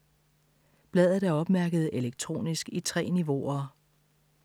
Bladet er opmærket elektronisk i 3 niveauer.